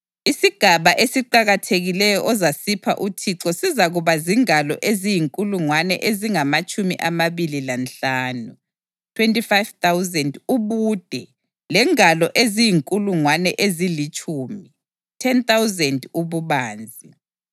Isigaba esiqakathekileyo ozasipha uThixo sizakuba zingalo eziyinkulungwane ezingamatshumi amabili lanhlanu (25,000) ubude lengalo eziyinkulungwane ezilitshumi (10,000) ububanzi.